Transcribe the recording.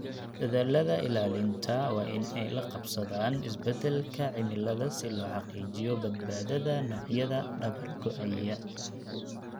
Dadaallada ilaalinta waa in ay la qabsadaan isbeddelka cimilada si loo xaqiijiyo badbaadada noocyada dabar-go'aya.